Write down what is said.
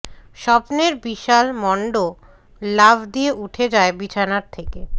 স্বপ্নের বিশাল মণ্ড লাফ দিয়ে উঠে যায় বিছানার থেকে